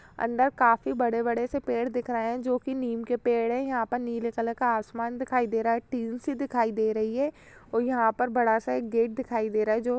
अंदर काफी बड़े-बड़े से पेड़ दिख रहे हैं जो कि नीम के पेड़ हैं। यहां प नीले कलर का आसमान दिखाई दे रहा है। टीन सी दिखाई दे रही है औ यहां पर बड़ा सा एक गेट दिखाई दे रहा है जो --